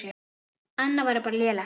Annað væri bara lélegt.